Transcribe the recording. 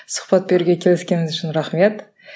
сұхбат беруге келіскеніңіз үшін рахмет